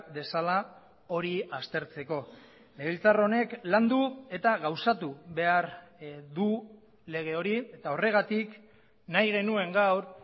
dezala hori aztertzeko legebiltzar honek landu eta gauzatu behar du lege hori eta horregatik nahi genuen gaur